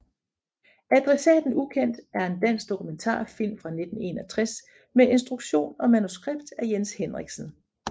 Adressaten ubekendt er en dansk dokumentarfilm fra 1961 med instruktion og manuskript af Jens Henriksen